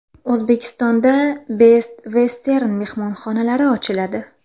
O‘zbekistonda Best Western mehmonxonalari ochiladi.